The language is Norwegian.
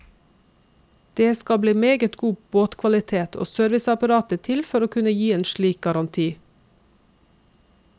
Det skal meget god båtkvalitet og serviceapparat til for å kunne gi en slik garanti.